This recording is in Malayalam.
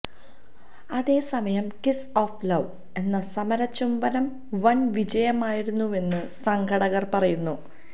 അതേസമയം കിസ് ഓഫ് ലൌവ് എന്ന സമര ചുംബനം വൻവിജയമായിരുന്നുവെന്ന് സംഘാടകർ പറയുന്നു